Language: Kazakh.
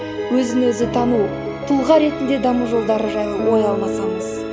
өзі өзі тану тұлға ретінде даму жолдары жайлы ой алмасамыз